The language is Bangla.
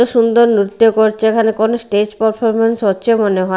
সুন্দর নৃত্য করছে এখানে কোনো স্টেজ পারফরমেন্স হচ্ছে মনে হয়।